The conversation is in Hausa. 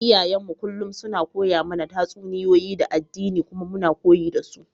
Iyayenmu kullum suna koya mana tatsuniyoyi na addini kuma muna koyi da su.